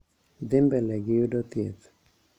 Dhi mbele gi yudo thieth,